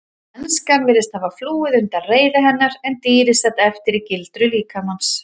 Mennskan virtist hafa flúið undan reiði hennar en dýrið sat eftir í gildru líkamans.